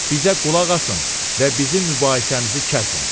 Bizə qulaq asın və bizim mübahisəmizi kəsin.